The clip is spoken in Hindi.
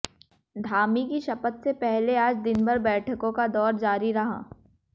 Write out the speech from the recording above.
धामी की शपथ से पहले आज दिनभर बैठकों का दौर जारी रहा